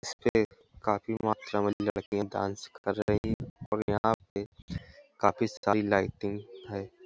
इसपे काफी मात्रा में लड़कियां डांस कर रही और यहाँ पे काफी सारी लाइटिंग है |